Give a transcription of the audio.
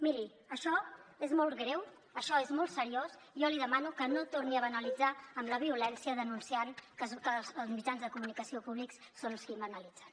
miri això és molt greu això és molt seriós jo li demano que no torni a banalitzar la violència denunciant que els mitjans de comunicació públics són els qui la banalitzen